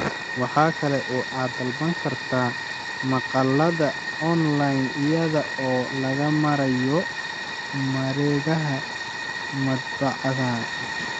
Waxa kale oo aad ka dalban kartaa maqaallada onlayn iyada oo loo marayo mareegaha madbacadaha.